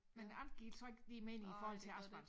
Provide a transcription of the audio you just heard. Men alt giver så ikke lige mening i forhold til asfalt